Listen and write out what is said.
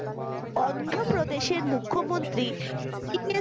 অন্ধ্র প্রদেশের মূখ্য মন্ত্রী ওয়াই এস